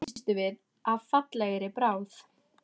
Þarna misstum við af fallegri bráð